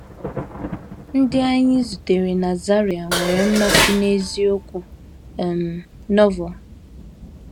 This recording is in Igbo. Ndị anyị zutere na Zaire nwere mmasị n’eziokwu um Novel